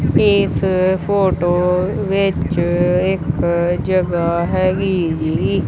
ਇਸ ਫ਼ੋਟੋ ਵਿੱਚ ਇੱਕ ਜਗ੍ਹਾ ਹੈਗੀ ਜੀ।